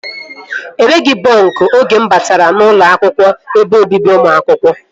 Enweghị bọnk oge mụ batara n'ụlọ ebe obibi ụmụ akwụkwọ